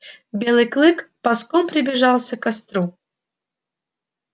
белый клык ползком приближался к костру